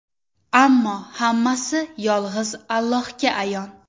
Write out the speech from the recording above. Ammo hammasi yolg‘iz Allohga ayon.